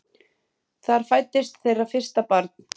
Þar fæddist þeirra fyrsta barn.